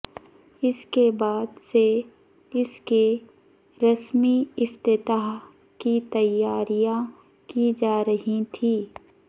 اس کے بعد سے اس کے رسمی افتتاح کی تیاریاں کی جا رہی تھیں